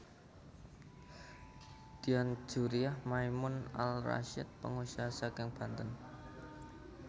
Dian Djuriah Maimun Al Rasyid pengusaha saking Banten